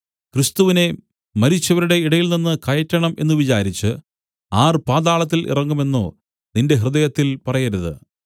ക്രിസ്തുവിനെ മരിച്ചവരുടെ ഇടയിൽ നിന്നു കയറ്റണം എന്നു വിചാരിച്ചു ആർ പാതാളത്തിൽ ഇറങ്ങും എന്നോ നിന്റെ ഹൃദയത്തിൽ പറയരുത്